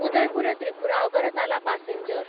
Udaipur Tripura Agartala passenger